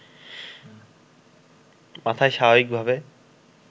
মাথায় স্বাভাবিকভাবে